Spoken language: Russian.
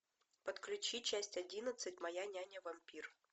подключи часть одиннадцать моя няня вампир